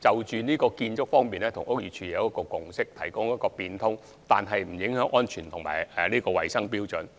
在建築方面，我們跟屋宇署有一個共識，就是可以有變通，但不會影響安全和衞生標準。